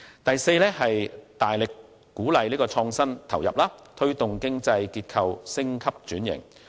第四方面，是大力鼓勵創新投入，推動經濟結構升級轉型。